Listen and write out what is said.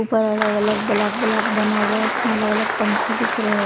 ऊपर अलग अलग ब्लॉक ब्लॉक बना हुआ है उसमें अलग अलग पंखे दिख रहे हैं।